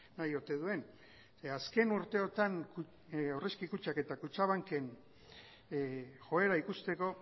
nahi ote duen azken urteotan aurrezki kutxak eta kutxabanken joera ikusteko